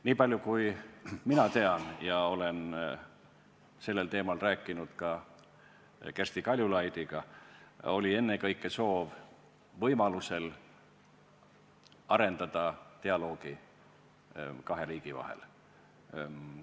Nii palju kui mina tean – ja ma olen sel teemal ka Kersti Kaljulaidiga rääkinud –, oli ennekõike soov arendada võimaluse korral kahe riigi vahelist dialoogi.